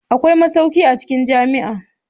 Akwai masauki a cikin jami'a.